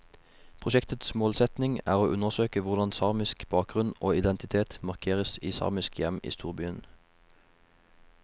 Prosjektets målsetning er å undersøke hvordan samisk bakgrunn og identitet markeres i samiske hjem i storbyen.